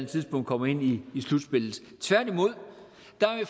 tidspunkt kommer ind i slutspillet tværtimod